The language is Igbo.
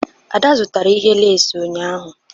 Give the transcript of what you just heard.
Ada zụtara ihe lace ụnyahụ?